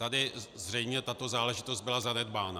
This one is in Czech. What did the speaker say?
Tady zřejmě tato záležitost byla zanedbána.